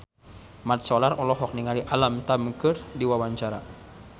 Mat Solar olohok ningali Alam Tam keur diwawancara